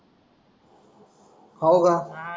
हो का.